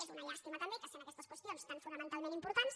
és una llàstima també que sent aquestes qüestions tan fonamentalment importants